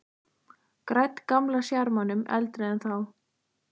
Gædd gamla sjarmanum, eldri en þá.